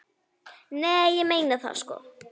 Nei, ég meina það sko.